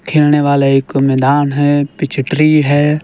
खेलने वाला एक मैदान है पीछे ट्री है।